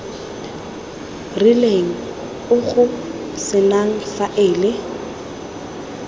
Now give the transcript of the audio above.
rileng o go senang faele